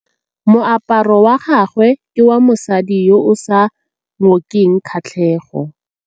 Moaparô wa gagwe ke wa mosadi yo o sa ngôkeng kgatlhegô.